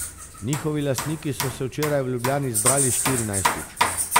Njihovi lastniki so se včeraj v Ljubljani zbrali štirinajstič.